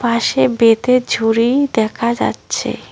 পাশে বেতের ঝুড়ি দেখা যাচ্ছে।